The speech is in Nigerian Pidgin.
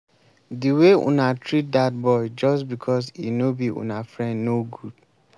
the way una treat dat boy just because e no be una friend no good